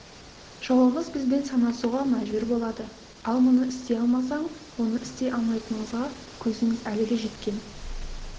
жауымыз бізбен санасуға мәжбүр болады ал мұны істей алмасаң оны істей алмайтыныңызға көзіңіз әлі де жеткен